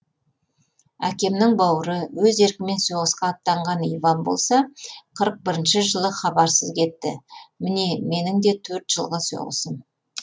әкемнің бауыры өз еркімен соғысқа аттанған иван болса қырық бірінші жылы хабарсыз кетті міне менің де төрт жылғы соғысым